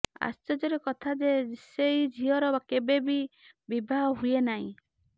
ଆଶ୍ଚର୍ଯ୍ୟର କଥା ଯେ ସେହି ଝିଅର କେବେ ବି ବିବାହ ହୁଏ ନାହିଁ